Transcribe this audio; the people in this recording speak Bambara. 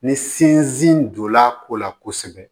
Ni sinsin donna a ko la kosɛbɛ